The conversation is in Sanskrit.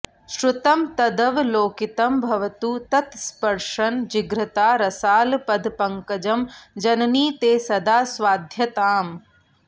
श्रुतं तदवलोकितं भवतु तत्स्पृशन् जिघ्रता रसालपदपङ्कजं जननि ते सदा स्वाद्यताम्